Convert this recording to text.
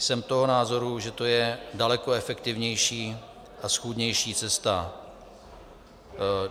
Jsem toho názoru, že to je daleko efektivnější a schůdnější cesta.